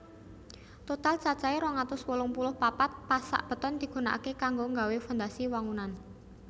Total cacahe rong atus wolung puluh papat pasak beton digunakake kanggo nggawé fondasi wangunan